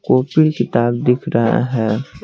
Copy किताब दिख रहा है।